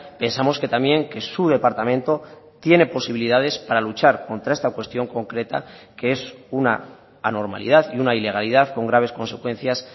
pensamos que también que su departamento tiene posibilidades para luchar contra esta cuestión concreta que es una anormalidad y una ilegalidad con graves consecuencias